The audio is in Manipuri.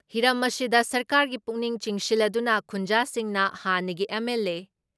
ꯍꯤꯔꯝ ꯑꯁꯤꯗ ꯁꯔꯀꯥꯔꯒꯤ ꯄꯨꯛꯅꯤꯡ ꯆꯤꯡꯁꯤꯜꯂꯗꯨꯅ ꯈꯨꯟꯖꯥꯁꯤꯡꯅ ꯍꯥꯟꯅꯒꯤ ꯑꯦꯝ.ꯑꯦꯜ.ꯑꯦ.